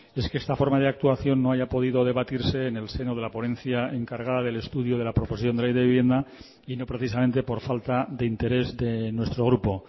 es que esta forma de actuación no haya podido debatirse en el seno de la ponencia encargada del estudio de la proposición de ley de vivienda y no precisamente por falta de interés de nuestro grupo